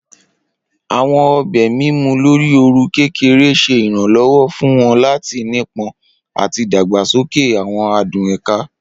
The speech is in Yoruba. Awọn obe mimu lori ooru kekere ṣe iranlọwọ fun wọn lati nipọn ati dagbasoke awọn adun eka.